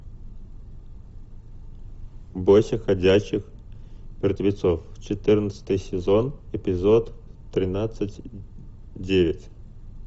бойся ходячих мертвецов четырнадцатый сезон эпизод тринадцать девять